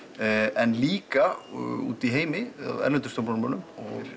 en líka úti í heimi hjá erlendum stjórnmálamönnum